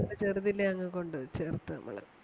ചെറുതിലേ അങ്ങ് കൊണ്ട് ചേർത്ത് നമ്മള്.